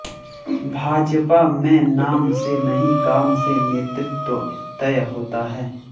भाजपा में नाम से नहीं काम से नेतृत्व तय होता है